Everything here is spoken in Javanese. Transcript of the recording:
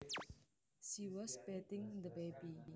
She was bathing the baby